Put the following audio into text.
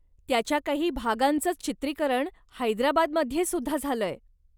त्याच्या काही भागांचंच चित्रीकरण हैदराबादमध्ये सुद्धा झालय.